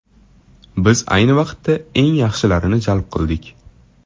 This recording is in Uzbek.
Biz ayni vaqtda eng yaxshilarini jalb qildik.